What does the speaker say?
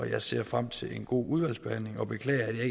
jeg ser frem til en god udvalgsbehandling og beklager at jeg